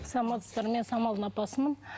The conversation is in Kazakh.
саламатсыздар мен самалдың апасымын